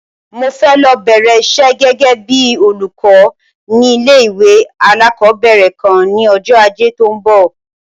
Mi fẹ́ lọ bẹ̀rẹ̀ isẹ́ gẹ́gẹ́ bíi olùkọ́ ní ilé-ìwé alákọ̀ọ́bẹ̀rẹ̀ kan ní ọjọ́ Ajé tó ń bọ̀.